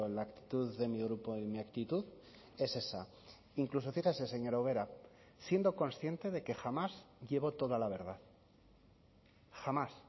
la actitud de mi grupo y mi actitud es esa incluso fíjese señora ubera siendo consciente de que jamás llevo toda la verdad jamás